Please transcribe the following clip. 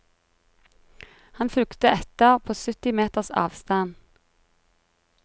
Han fulgte etter på sytti meters avstand.